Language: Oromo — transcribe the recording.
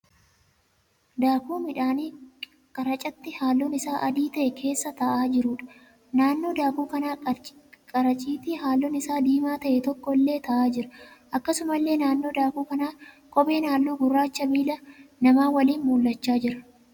Daakuu midhaanii qaracitii halluun isaa adii ta'e keessa taa'aa jiruudha. Naannoo daakuu kanaa qaracitii halluun isaa diimaa ta'e tokko illee taa'aa jira. Akkasumallee naannoo daakuu kana kopheen halluu gurraachaa miila namaa waliin mul'achaa jira.